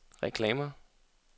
reklamer